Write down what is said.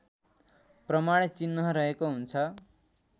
प्रणाम चिन्ह रहेको हुन्छ